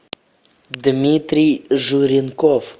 дмитрий журенков